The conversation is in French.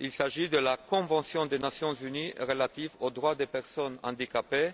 Il s'agit de la convention des Nations unies relative aux droits des personnes handicapées,